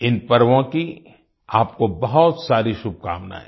इन पर्वों की आपको बहुत सारी शुभकामनायें